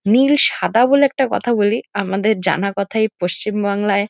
নীল সাদা বলে একটা কথা বলি আমাদের জানা কথা এই পশ্চিমবাংলায় --